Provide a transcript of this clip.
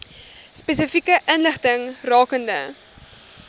spesifieke inligting rakende